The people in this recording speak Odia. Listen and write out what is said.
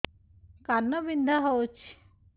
କାନ ବିନ୍ଧା ହଉଛି